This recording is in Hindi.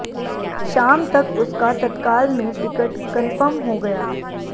शाम तक उसका तत्काल में टिकट कंफर्म हो गया